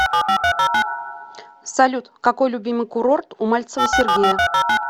салют какой любимый курорт у мальцева сергея